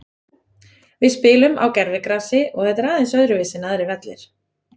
Við spilum á gervigrasi og þetta er aðeins öðruvísi en aðrir vellir.